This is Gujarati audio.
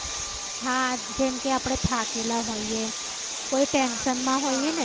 હા જેમ કે આપણે થાકેલા હોઈએ કોઈ tension મા હોઈ ને